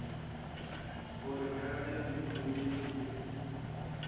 gore ka ge moemedi le